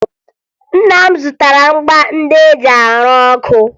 Nna m zụtara ngwa ndị e ji arụ ọkụ